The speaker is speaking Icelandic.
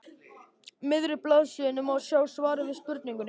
miðri blaðsíðunni má sjá svarið við spurningunni